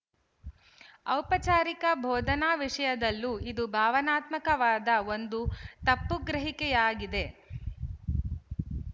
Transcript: ಔಪಚಾರಿಕ ಬೋಧನಾ ವಿಶಯದಲ್ಲೂ ಇದು ಭಾವನಾತ್ಮಕವಾದ ಒಂದು ತಪ್ಪುಗ್ರಹಿಕೆಯಾಗಿದೆ